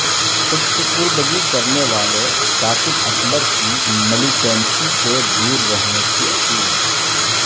خود سپردگی کرنے والے ثاقب اکبر کی ملی ٹنسی سے دور رہنے کی اپیل